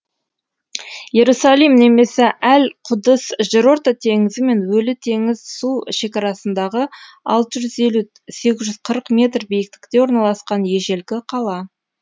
иерусалим немесе әл құдыс жерорта теңізі мен өлі теңіз су шекарасындағы алты жүз елу сегіз жүз қырық метр биіктікте орналасқан ежелгі қала